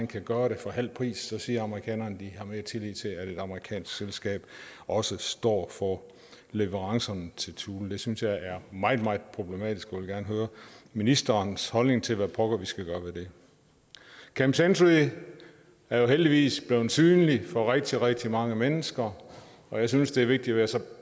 kan gøre det for halv pris siger amerikanerne at de har mere tillid til at et amerikansk selskab også står for leverancerne til thule det synes jeg er meget meget problematisk og jeg vil gerne høre ministerens holdning til hvad pokker vi skal gøre ved det camp century er jo heldigvis blevet synlig for rigtig rigtig mange mennesker og jeg synes det er vigtigt at